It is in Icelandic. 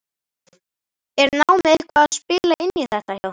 Er námið eitthvað að spila inn í þetta hjá þér?